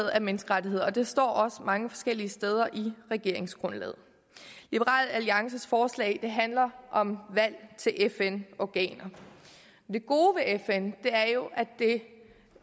af menneskerettigheder og det står også mange forskellige steder i regeringsgrundlaget liberal alliances forslag handler om valg til fn organer det gode ved fn er jo at det